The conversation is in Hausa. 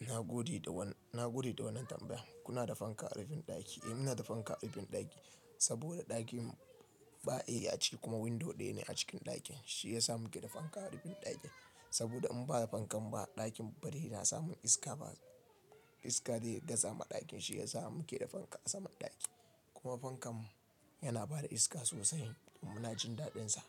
Na gode da wannan tambaya. Kuna da fanka a rufin ɗaki? Eh, muna da fanka a rufin ɗaki saboda ɗakin ba A ciki kuma window ɗaya ne a cikin ɗakin, shi yasa muke da fanka a rufin ɗakin. Saboda in ba da fankan ba ɗakin bari yana samun iska, ba iska zai iya gaza ma ɗakin shi yasa mu ke da fanka a saman ɗaki kuma fankan mu yana ba da iska sosai kuma na jin daɗinsa